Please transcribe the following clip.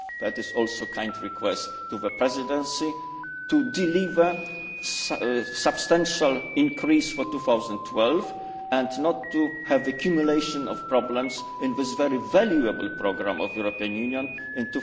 us. This is also a kind request to the Presidency to deliver a substantial increase for 2012 and not to have an accumulation of problems in this very valuable European Union programme